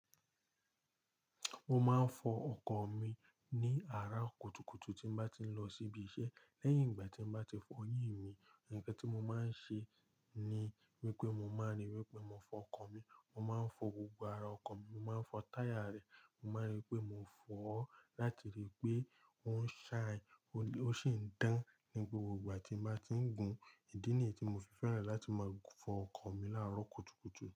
Mo máa ń fọ ọkọ̀ mi ní àárọ̀ kùtùkùtù tí n bá ti ń lọ síbi iṣẹ́. Lẹ́yìn ìgbà tí n bá ti fọ'yìn mi, ǹkan tí mo máa ń ṣe ni wípé mo máa ń ríi wípé mo fọ ọkọ̀ mi. Mo máa ń fọ gbogbo ara ọkọ̀ mi, mo máa ń fọ táyà rẹ̀, mo máa ń ríi pé mò ń fọ ó láti ríi pé ó ń shine, ó sì ń dán ní gbogbo ìgbà tí mbá ti ń gùn. Ìdí nìyí tí mo fi fẹ́ràn láti máa fọ ọkọ̀ mi láàárọ̀ kùtùkùtù.